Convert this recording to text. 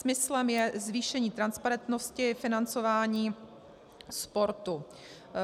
Smyslem je zvýšení transparentnosti financování sportu.